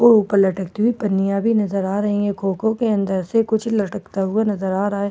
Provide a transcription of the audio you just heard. नजर अ रहा है कोको के अंधार से कुछ लटकता नजर अ रहा है और कुछ कब--